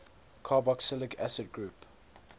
carboxylic acid group